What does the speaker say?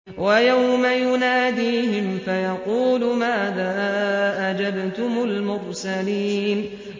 وَيَوْمَ يُنَادِيهِمْ فَيَقُولُ مَاذَا أَجَبْتُمُ الْمُرْسَلِينَ